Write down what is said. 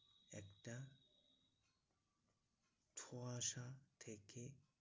ধোঁয়াশা থেকে